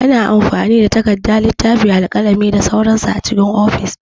Ana amfani da takarda, littafi, alƙalami da sauran su a cikin ofis.